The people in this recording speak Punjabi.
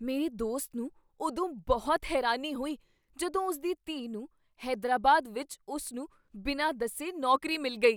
ਮੇਰੇ ਦੋਸਤ ਨੂੰ ਉਦੋਂ ਬਹੁਤ ਹੈਰਾਨੀ ਹੋਈ ਜਦੋਂ ਉਸ ਦੀ ਧੀ ਨੂੰ ਹੈਦਰਾਬਾਦ ਵਿੱਚ ਉਸ ਨੂੰ ਬਿਨਾਂ ਦੱਸੇ ਨੌਕਰੀ ਮਿਲ ਗਈ।